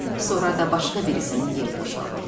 Sonra da başqa birisinin yeri boşalırdı.